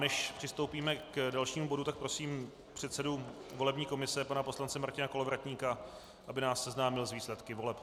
Než přistoupíme k dalšímu bodu, tak prosím předsedu volební komise pana poslance Martina Kolovratníka, aby nás seznámil s výsledky voleb.